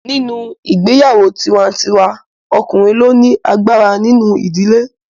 Nínú ìgbéyàwó tiwa-n-tiwa ọkùnrin ló ni agbára nínú ìdílé